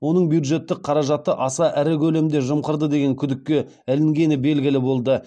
оның бюджеттік қаражатты аса ірі көлемде жымқырды деген күдікке ілінгені белгілі болды